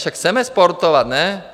Však chceme sportovat, ne?